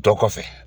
Dɔ kɔfɛ